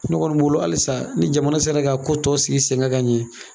Ne kɔni bolo halisa ni jamana sera ka ko tɔ sigi sen ga ka ɲɛ